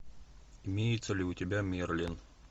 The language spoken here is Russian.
имеется ли у тебя мерлин